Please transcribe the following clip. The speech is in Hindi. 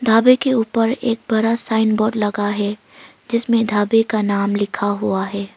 ढाबे के ऊपर एक बड़ा साइन बोर्ड लगा है जिसमें ढाबे का नाम लिखा हुआ है।